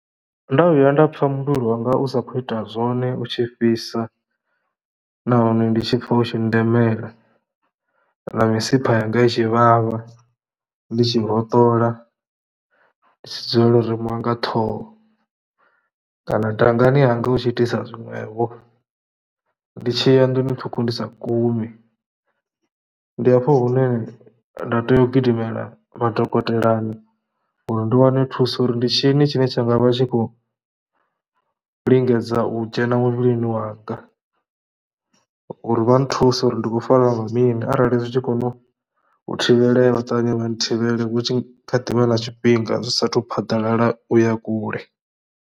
Nda vhuya nda pfha muvhili wanga u sa khou ita zwone u tshi fhisa nahone ndi tshi pfha u tshi nndemela na misipha yanga i tshi vhavha, ndi tshi hoṱola, ndi tshi dzulela uri u remiwa nga ṱhoho kana dangani hanga hu tshi itisa zwiṅwevho, ndi tshi ya nḓuni ṱhukhu ndi sa gumi, ndi hafho hune nda tea u gidimela madokotelani uri ndi wane thuso uri ndi tshini tshine tsha nga vha tshi khou lingedza u dzhena muvhilini wanga, uri vha nthuse uri ndi khou fariwa nga mini. Arali zwi tshi kona u thivhelea vha ṱavhanye vha nthivhele hu tshi kha ḓivha na tshifhinga zwi saathu phaḓalala u ya kule.